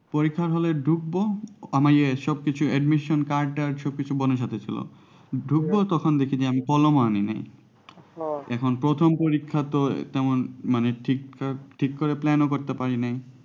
পরীক্ষা hall এ ঢুকবো আমার admission card তাদ সব বোনের সাথে ছিল ঢুকবো তখন দেখি যে আমি কলম আনি নাই এখন প্রথম পরীক্ষা তো তেমন মানে ঠিকঠাক ঠিক plan ও করতে পারি নাই